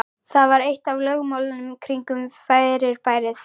Það var eitt af lögmálunum kringum fyrirbærið.